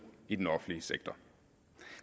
i den offentlige sektor